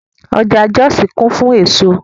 Ọjà Jọ́òsì kún fún èso